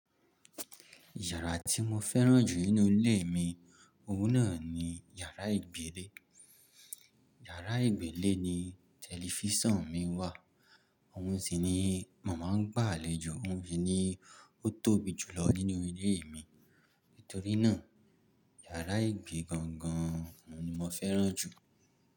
Yàrá tí mo fẹ́ràn jù nínú ilé mi, òun náà ni yàrá ìgbé lé. Yàrá ìgbé le ni tẹlifísàn mi wà, òun sì ni mo máa ń gbà lé jo, òun sì ni ó tóbi jù lọ nínú ilé mi. Nítorí náà, yàrá ìgbé gangan ni mo fẹ́ràn jù.